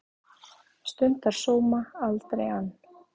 Stundar sóma, aldrei ann